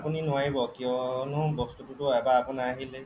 আপুনি নোৱাৰিব কিয়নো বস্তুটো এবাৰ আপোনাৰ আহিলেই